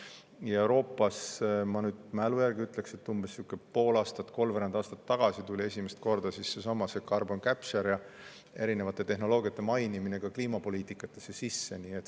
Ja Euroopas, ma nüüd mälu järgi ütlen, umbes pool aastat või kolmveerand aastat tagasi tuli esimest korda seesama carbon capture ja erinevate tehnoloogiate mainimine ka kliimapoliitikatesse sisse.